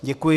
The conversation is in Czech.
Děkuji.